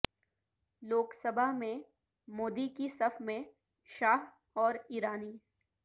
لوک سبھا میں مودی کی صف میں شاہ اور ایرانی